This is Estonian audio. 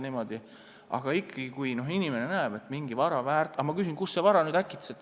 Ma küsisin, kust see vara nüüd äkitselt sul tekkis.